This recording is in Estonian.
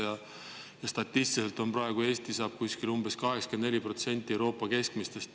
Eesti saab statistiliselt praegu umbes 84% Euroopa keskmisest.